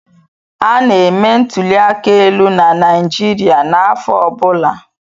Ana-eme ntụli aka elu na Naịjirịa n'afọ ọ bụla.